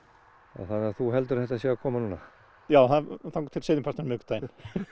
þannig að þú heldur að þetta sé að koma núna já þangað til seinnipartinn á miðvikudaginn